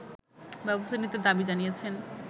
ব্যবস্থা নিতে দাবি জানিয়েছেন